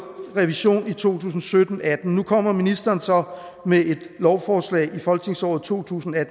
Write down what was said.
revision i to tusind og sytten til atten nu kommer ministeren så med et lovforslag i folketingsåret to tusind og